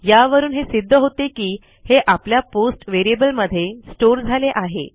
यावरून हे सिध्द होते की हे आपल्या पोस्ट व्हेरिएबलमध्ये स्टोअर झाले आहे